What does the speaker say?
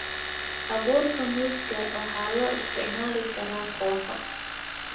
Abuurka muuska waxaa loo isticmaali karaa kooxo.